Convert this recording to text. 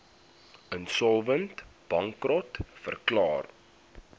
insolvent bankrot verklaar